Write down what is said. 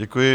Děkuji.